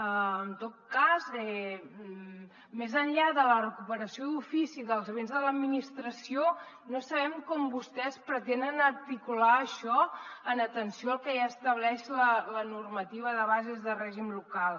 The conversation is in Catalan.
en tot cas més enllà de la recuperació d’ofici dels béns de l’administració no sabem com vostès pretenen articular això en atenció al que ja estableix la normativa de bases de règim local